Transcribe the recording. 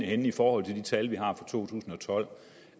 henne i forhold til de tal vi har for to tusind